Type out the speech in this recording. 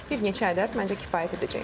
Bir neçə ədəd məndə kifayət edəcək.